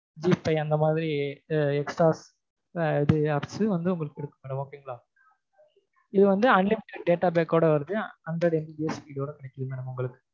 Zee five அந்த மாதிரி extra ஆஹ் apps வந்து உங்களுக்கு குடுக்குறாங்க okay ங்களா? இது வந்து unlimited data pack ஓட வருது hundred MBPS speed ல கிடைக்கும் உங்களுக்கு